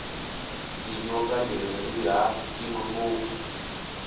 tinyoka leri rihhatima ngopfu